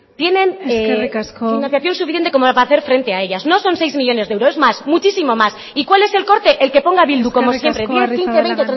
financiación suficiente como para hacer frente a ellas no son seis millónes de euros es más muchísimo más eskerrik asko y cuál es el corte el que ponga bildu como siempre diez quince veinte treinta y cinco el